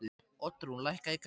Oddrún, lækkaðu í græjunum.